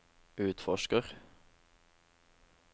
utforsker